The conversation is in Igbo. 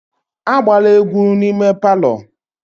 Agbala egwu n'ime palọ!